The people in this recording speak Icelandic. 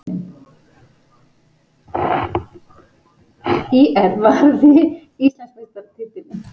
ÍR varði Íslandsmeistaratitilinn